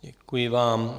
Děkuji vám.